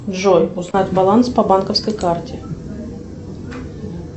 джой узнать баланс по банковской карте